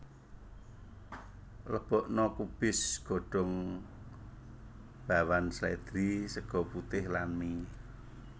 Lebokna kubis godhong bawan slèdri sega putih lan mie